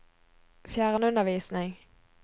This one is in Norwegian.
fjernundervisning